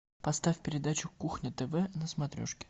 поставь передачу кухня тв на смотрешке